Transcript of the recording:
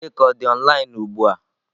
Chika ọ dị online ugbu a?